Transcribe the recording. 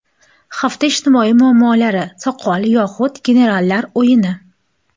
Hafta ijtimoiy muammolari: Soqol yoxud generallar o‘yini.